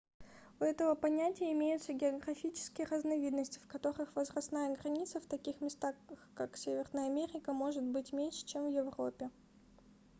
у этого понятия имеются географические разновидности в которых возрастная граница в таких местах как северная америка может быть меньше чем в европе